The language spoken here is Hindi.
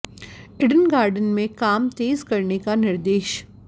इडन गार्डन में काम तेज करने का निर्देश